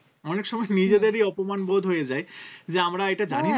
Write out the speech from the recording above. অনেক সময় নিজেদেরই অপমান বোধ হয়ে যাই যে আমরা এটা জানি না